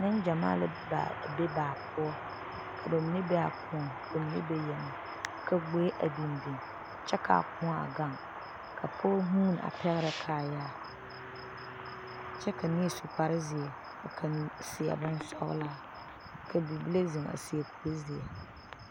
Nengyamaa la a be baa poɔ, ka ba mine be a koɔ poɔ ka ba mine. be a yeŋɛ ka gboe a biŋ biŋ kyɛ kaa koɔ a gaŋ ka pɔge vʋʋne a pɛgerɛ kaayaa kyɛ ka neɛ su kpare. zeɛ a seɛ bonsɔglaa ka bibile zeŋ a seɛ kur sɔglaa